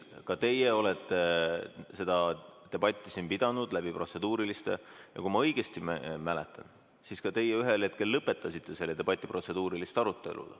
Ka teie olete seda debatti siin pidanud protseduuriliste küsimustega ja kui ma õigesti mäletan, siis ka teie ühel hetkel lõpetasite selle debati, kui oli protseduuri arutelu.